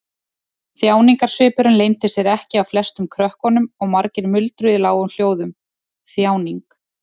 Þjáningarsvipurinn leyndi sér ekki á flestum krökkunum og margir muldruðu í lágum hljóðum: Þjáning.